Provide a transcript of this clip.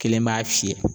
Kelen b'a fiyɛ